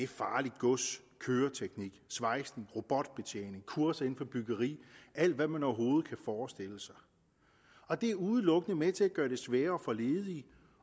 farligt gods køreteknik svejsning robotbetjening kurser inden for byggeri alt hvad man overhovedet kan forestille sig og det er udelukkende med til at gøre det sværere for ledige